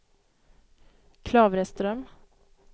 Klavreström